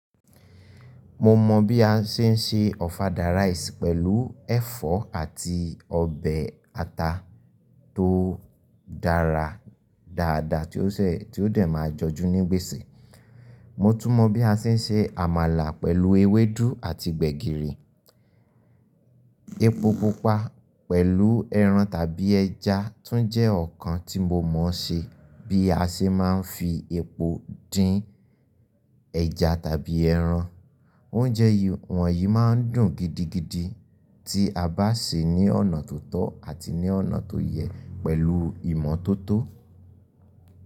Mo mọ bí a ṣe ń se ọ̀fadà rice pẹ̀lú ẹ̀fọ́ àti ọbẹ̀ ata tó dára dáadáa tí ó dẹ̀ máa jọjú ní gbèsè. Mo tún mọ bí a ṣe ń se àmàlà pẹ̀lú ewédú àti gbẹ̀gìrì. Epo pupa pẹ̀lú ẹran tàbí ẹja tún jẹ́ ọ̀kan tí mo mọ̀ọ́ se. Bí a ṣe máa ń fi epo dín ẹja tàbí ẹran. Oúnjẹ wọ̀nyí máa ń dùn gidigidi tí a bá sè é ní ọ̀nà tó tọ́ àti ní ọ̀nà tó yẹ pẹ̀lú ìmọ̀ tó tó.